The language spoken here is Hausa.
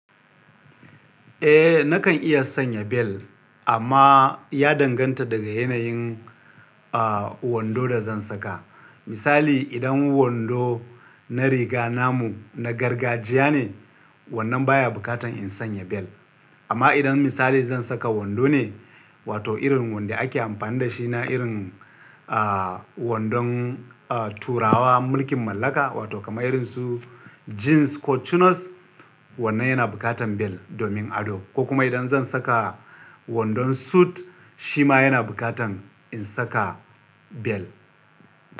Eh nakan iya sanya bel amma ya danganta daga yanayin, ah, wando da zan saka. Misali idan wando na riga namu na gargajiya ne, wannan baya bukatan in sanya bel. Amma idan misali zan saka wando ne wato irin wanda ake amfani da shi na irin, ah, wandon, ah, turawa mulkin mallaka wato kamar irin su jeans ko cunos wannan yana bukatan bel domin ado. Ko kuma idan zan saka wandon suit shi ma yana bukatan in saka bel.